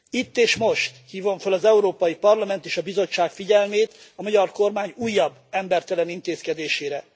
Itt és most hívom föl az Európai Parlament és a Bizottság figyelmét, a magyar kormány újabb embertelen intézkedésére.